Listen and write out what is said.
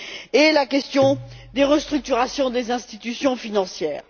et, ensuite, la question des restructurations des institutions financières.